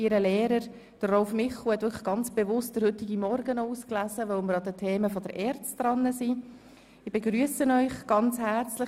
Ihr Lehrer, Rolf Michel, hat bewusst den heutigen Morgen ausgewählt, weil wir die Themen der ERZ behandeln.